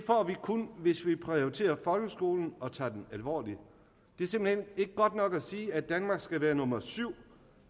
kun hvis vi prioriterer folkeskolen og tager den alvorligt det er simpelt hen ikke godt nok at sige at danmark skal være nummer syv